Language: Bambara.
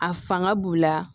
A fanga b'u la